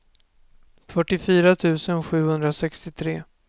fyrtiofyra tusen sjuhundrasextiotre